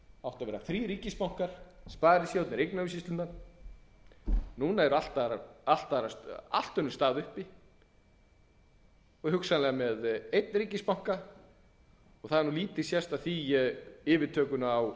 áttu að vera þrír ríkisbankar sparisjóðirnir um eignaumsýsluna nú er allt önnur staða uppi hugsanlega með einn ríkisbanka og það hefur lítið sést af því með yfirtökuna